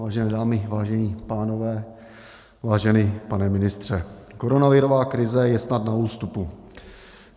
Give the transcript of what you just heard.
Vážené dámy, vážení pánové, vážený pane ministře, koronavirová krize je snad na ústupu.